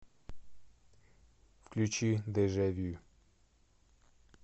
включи дежавю